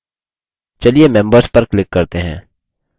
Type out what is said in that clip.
members पर click करते हैं